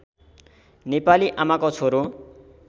नेपाली आमाको छोरो